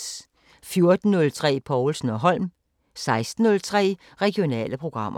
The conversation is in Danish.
14:03: Povlsen & Holm 16:03: Regionale programmer